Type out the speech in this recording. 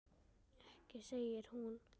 Ekki segir hún.